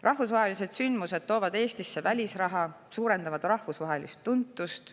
Rahvusvahelised sündmused toovad Eestisse välisraha ja suurendavad meie rahvusvahelist tuntust.